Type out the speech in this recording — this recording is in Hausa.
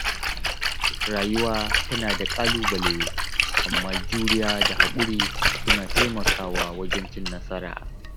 Rayuwa tana da ƙalubale, amma juriya da haƙuri suna taimakawa wajen cin nasara.